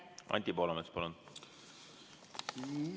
Anti Poolamets, palun!